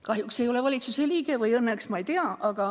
Kahjuks ma ei ole valitsuse liige – või õnneks, ma ei tea.